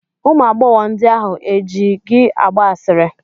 Ụmụ agbọghọ ndị ahụ e ji gị agba asịrị?